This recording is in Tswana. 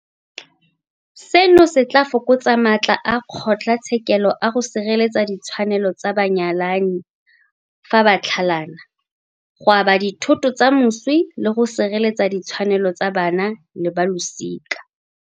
Seno se tla fokotsa matla a kgotlatshekelo a go sireletsa ditshwanelo tsa banyalani fa ba tlhalana, go aba dithoto tsa moswi le go sireletsa ditshwanelo tsa bana le balosika.